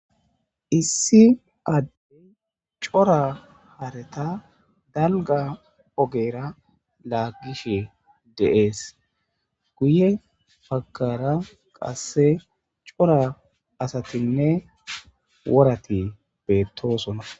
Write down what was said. Issi addey cora hareta dalga ogera laagishe deees guye pagkara qasse cora asatinne worati beettoosona.